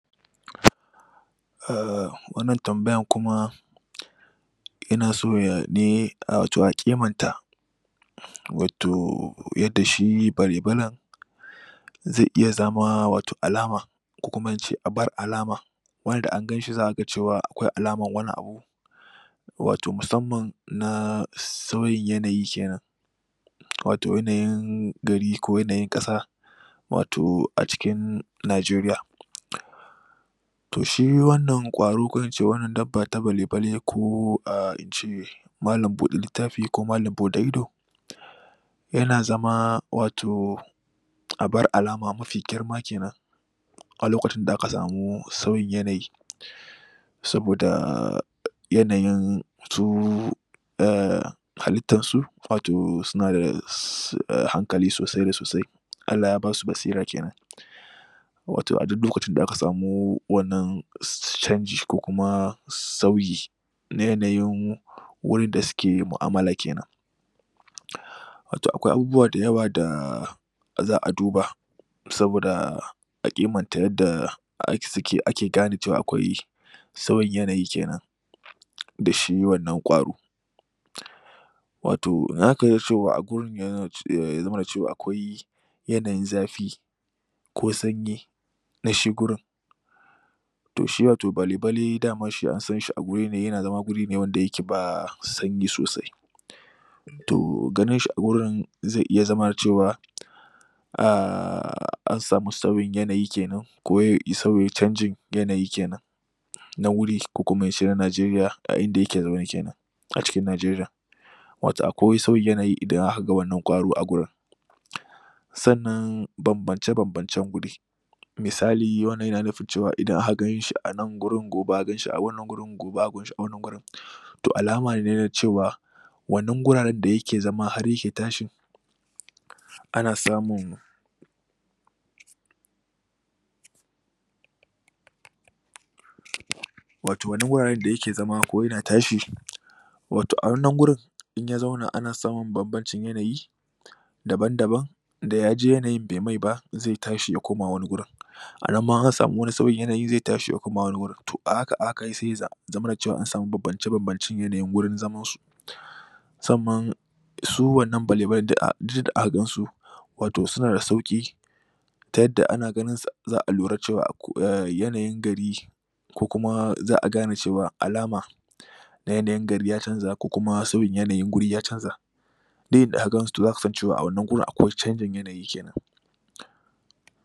Um wannan tambayan kuma yana so ya ne wato a kiman ta wato yadda shi bale-balen zai iya zama wato alama ko kuma ince abar alama wani da anganshi zaga cewa akwai alamar wani abu wato musamman na sauyin yanayi kenan wato yanayin gari ko yanayin kasa wato acikin nigeriya to shi wannan kwaro ko ince dabba ta bale-bale ko ah ince malam bude littafi ko malam bude ido yana zama wato abar alama mafi girma kenan a lokacin da aka samu sauyin yanayi sabodaaa yanayin su um halittar su wato sunada um hankali sosai da sosai Allah ya basu basira kenan wato a duk lokacin da aka samu wannan canji ko kuma sauyin na yanayin wurin da suke yin mu'amala kenan wato akwai abubuwa dayawa da za'a duba saboda a kimanta yadda ake gane cewa akwai sauyin yanayi kenan da shi wanna kwaro wato zaka iya cewa a gurin yana zamana cewa akwai yanayin zafi ko sanyi na shi gurin to shi wato bale-balen dama ansanshi a gurine yana zama guri ne wanda yake ba sanyi sosai to ganin shi agurin za iya zamana cewa um an samu sauyin yanayi kenan ko sau canjin yanayi kenan na wuri ko kuma ince na nigeriya a inda yake zaune kenan a cikin nigeriyar wato akwai sauyin yanayi idan akaga wannan kwaro agurin sannan bambance bance wuri misali wannan yana nufin idan aka ganshi anan gurin gobe aka ganshi a wannan gurin ,gobe aka ganshi a wannan gurin to alama ne na cewa wannan wuraren dayake zama har yake tashi ana samun wato wannan guraren dayake zama ko yana tashi wato a wannan wurin inya zauna ana samun bambacin yanayi daban-daban dayaji yanayin bai maiba zai tashi yakoma wani wurin anan ma in ansami wani sauyin yanayin zai tashi yakoma wani wurin to a haka a haka saiya zamana ansamu bambance bancen yanayin gurin zamansu musamman su wannan bale-balen duk inda aka gansu wato suna da sauki ta yadda ana ganin su za'a lura cewa yanayin gari ko kuma za'a gane cewa alama na yanayin gari ya canza ko kuma sauyin yanayin guri yacanza duk inda agansu zaka san cewa a wannan guri akwai cangin yanayi kenan